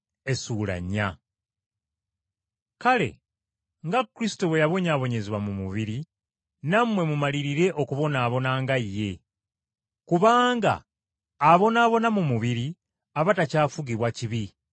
Kale nga Kristo bwe yabonyaabonyezebwa mu mubiri, nammwe mumalirire okubonaabona nga ye. Kubanga abonaabona mu mubiri aba takyafugibwa kibi.